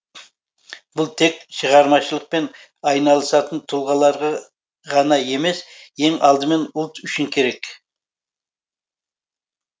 бұл тек шығармашылықпен айналысатын тұлғаларға ғана емес ең алдымен ұлт үшін керек